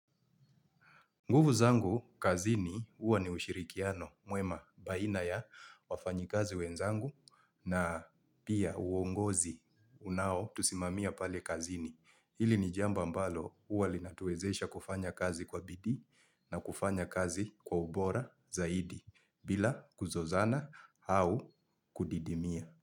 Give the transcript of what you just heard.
Nguvu zangu kazini huwa ni ushirikiano mwema baina ya wafanyikazi wenzangu na pia uongozi unao tusimamia pale kazini. Hili ni jambo ambalo huwa linatuwezesha kufanya kazi kwa bidii na kufanya kazi kwa ubora zaidi bila kuzozana au kudidimia.